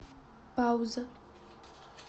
пауза